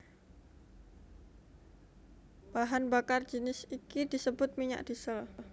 Bahan bakar jinis iki disebut minyak diesel